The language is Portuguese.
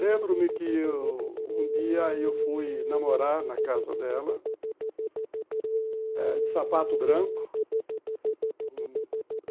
Lembro-me que um dia eu fui namorar na casa dela eh, de sapato branco.